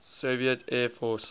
soviet air force